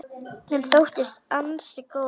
Hann þóttist ansi góður.